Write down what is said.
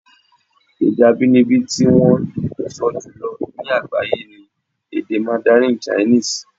Èdè abínibí tí wọ́n ń sọ jùlọ ní àgbáyé ni èdè mandarin chinese.